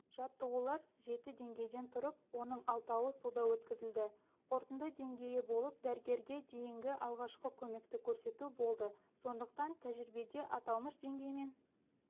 жаттығулар жеті деңгейден тұрып оның алтауы суда өткізілді қорытынды деңгейі болып дәрігерге дейінгі алғашқы көмекті көрсету болды сондықтан тәжірибеде аталмыш деңгеймен